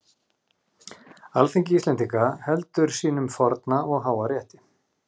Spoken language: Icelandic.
Alþingi Íslendinga heldur sínum forna og háa rétti!